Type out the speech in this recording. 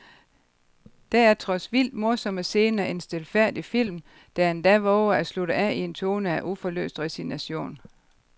Der er trods vildt morsomme scener en stilfærdig film, der endda vover at slutte af i en tone af uforløst resignation.